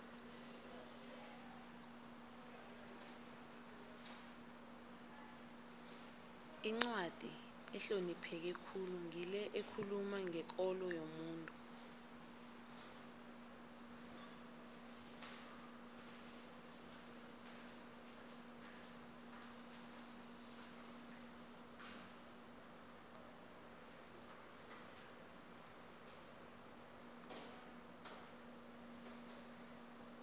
incwadi ehlonipheke khulu ngile ekhuluma ngekolo yomuntu